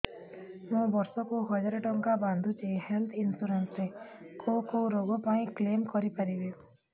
ମୁଁ ବର୍ଷ କୁ ହଜାର ଟଙ୍କା ବାନ୍ଧୁଛି ହେଲ୍ଥ ଇନ୍ସୁରାନ୍ସ ରେ କୋଉ କୋଉ ରୋଗ ପାଇଁ କ୍ଳେମ କରିପାରିବି